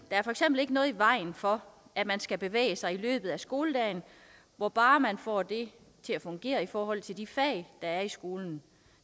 ikke noget i vejen for at man skal bevæge sig i løbet af skoledagen når bare man får det til at fungere i forhold til de fag der er i skolen